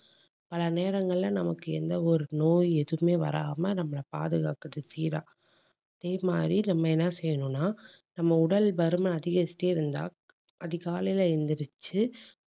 பல நேரங்கள்ல நமக்கு எந்த ஒரு நோய் எதுவுமே வராம நம்மளை பாதுகாக்குது சீரா அதேமாறி நம்ம செய்யணும்னா நம்ம உடல் பருமன் அதிகரிச்சுட்டே இருந்தா அதிகாலையில எந்திரிச்சு